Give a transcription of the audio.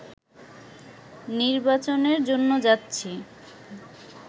নির্বাচনের জন্য যাচ্ছি